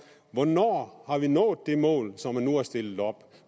hvornår har vi nået det mål som man nu har stillet op